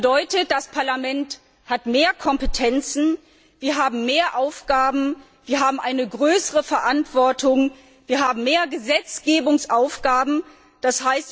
Das bedeutet, das Parlament hat mehr Kompetenzen, wir haben mehr Aufgaben, wir haben eine größere Verantwortung, wir haben mehr Gesetzgebungsaufgaben, d.